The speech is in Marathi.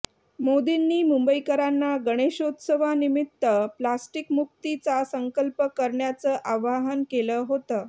मोदींनी मुंबईकरांना गणेशोत्सवानिमित्त प्लास्टिकमुक्तीचा संकल्प करण्याचं आवाहन केलं होतं